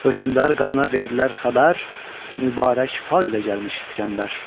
Hökmündar qadına verdilər xəbər, mübarək fal ilə gəlmiş İskəndər.